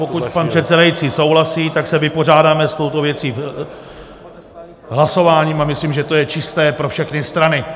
Pokud pan předsedající souhlasí, tak se vypořádáme s touto věcí hlasováním a myslím, že to je čisté pro všechny strany.